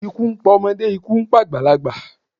Ikú ń pa ọmọdé, ikú ń pa àgbàlagbà.